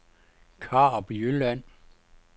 Karup Jylland